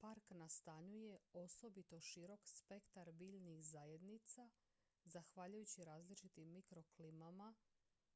park nastanjuje osobito širok spektar biljnih zajednica zahvaljujući različitim mikroklimama